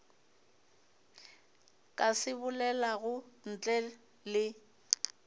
ka se bolelago ntle le